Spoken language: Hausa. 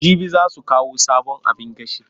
Jibi za su kawo sabon abin gashi.